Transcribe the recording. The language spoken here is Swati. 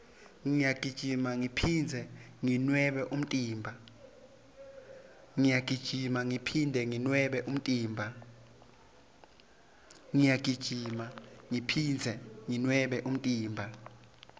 ngiyagijima ngiphindze nginwebe umtimba